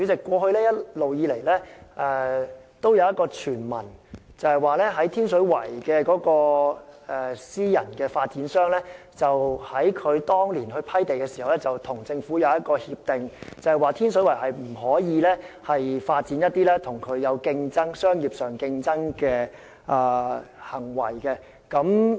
主席，一直以來也有一個傳聞，指天水圍的私人發展商當年獲批地時與政府有一項協定，訂明天水圍不可發展與其在商業上有競爭的行為。